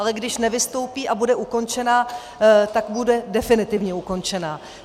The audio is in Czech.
Ale když nevystoupí a bude ukončena, tak bude definitivně ukončena.